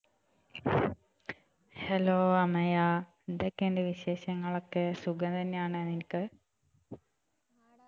Hello Amaya എന്തൊക്കെയുണ്ട് വിശേഷങ്ങളൊക്കെ സുഖം തന്നെയാണോ നിനക്ക്